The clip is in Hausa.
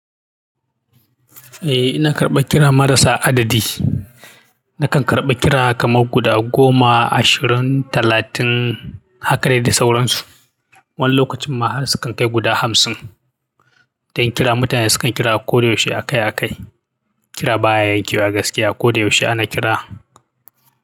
Eh, ina karɓan kira marasa adadi. Nakan karɓa kira kamar guda goma, ashirin, talatin, haka dai da sauransu. Wani lokacin ma har sukan kai guda hamsin. Don kira, mutane sukan kira koyaushe a kai a kai. Kira baya yankewa gaskiya, koyaushe ana kira.